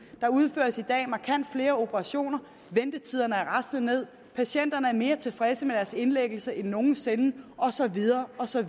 der udføres i dag markant flere operationer ventetiderne er raslet ned patienterne er mere tilfredse med deres indlæggelse end nogen sinde og så videre og så